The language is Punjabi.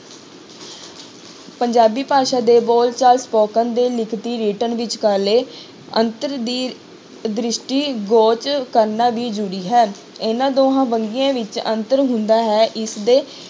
ਪੰਜਾਬੀ ਭਾਸ਼ਾ ਦੇ ਬੋਲਚਾਲ spoken ਤੇ ਲਿਖਤੀ written ਵਿਚਕਾਰਲੇ ਅੰਤਰ ਦੀ ਦ੍ਰਿਸ਼ਟੀ ਕਰਨਾ ਵੀ ਜ਼ਰੂਰੀ ਹੈ, ਇਹਨਾਂ ਦੋਹਾਂ ਵੰਨਗੀਆਂ ਵਿੱਚ ਅੰਤਰ ਹੁੰਦਾ ਹੈ ਇਸਦੇ